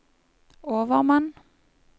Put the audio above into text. overmann